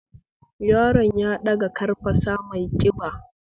Yaron ya ɗaga ƙarfasa mai ƙiba